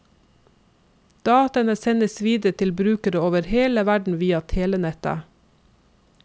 Dataene sendes videre til brukere over hele verden via telenettet.